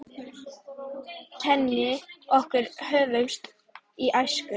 Kynni okkar hófust í æsku.